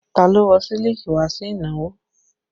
Ta ló wọ̀ sílíkì wá sí ìnáwó?